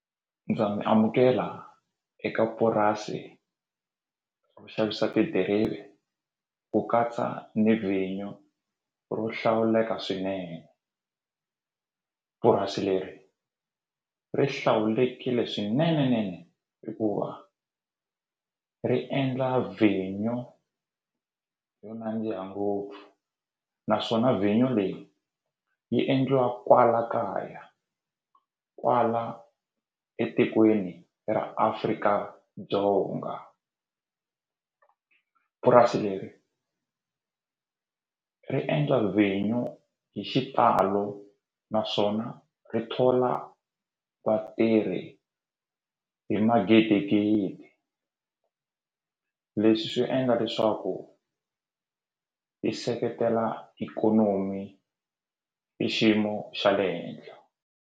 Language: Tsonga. Ndza mi amukela eka purasi ku xavisa tidirivi ku katsa ni vinyo ro hlawuleka swinene purasi leri ri hlawulekile swinene nene hikuva ri endla vinyo yo nandziha ngopfu naswona vinyo leyi yi endliwa kwala kaya kwala etikweni ra Afrika-Dzonga purasi leri ri endla vinyo hi xitalo naswona ri thola vatirhi hi magidigidi leswi swi endla leswaku yi seketela ikonomi hi xiyimo xa le henhla.